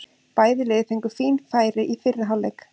Bæði lið fengu fín færi í fyrri hálfleik.